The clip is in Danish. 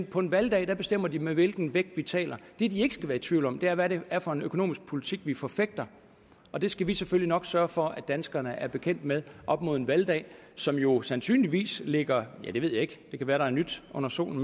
på en valgdag bestemmer de med hvilken vægt vi taler det de ikke skal være i tvivl om er hvad det er for en økonomisk politik vi forfægter og det skal vi selvfølgelig nok sørge for at danskerne er bekendt med op mod en valgdag som jo sandsynligvis ligger ja det ved jeg ikke det kan være der er nyt under solen